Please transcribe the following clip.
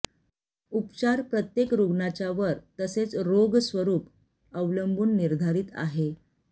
उपचार प्रत्येक रुग्णाच्या वर तसेच रोग स्वरूप अवलंबून निर्धारित आहे